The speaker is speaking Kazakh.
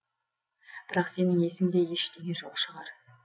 бірақ сенің есіңде ештеңе жоқ шығар